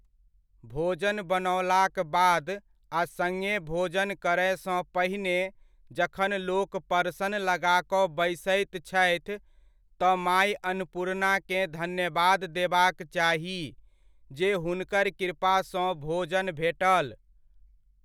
भोजन बनओलाक बाद आ सङ्गे भोजन करयसँ पहिने जखन लोक परसन लगा कऽ बैसैत छथि, तऽ माइ अन्नपुर्णाकेँ धन्यवाद देबाक चाही जे हुनकर कृपासँ भोजन भेटल।